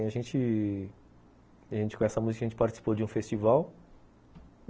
E a gente... a gente com essa música a gente participou de um festival